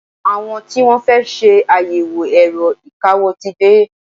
Àwọn tí Wọ́n fẹ́ ṣe àyẹ̀wò ẹ̀rọ ìkawó ti dé.